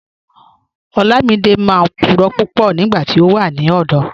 Olamídẹ máa n púrọ̀ púpọ̀ nígbàtí ó wà ní ọ̀dọ̀.